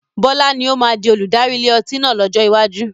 Bọlá ni ó máa di olùdarí ilé ọtí náà lọ́jọ́ iwájú